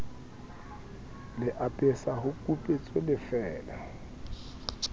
le apesa ho kupetswe bofeela